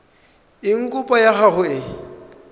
eng kopo ya gago e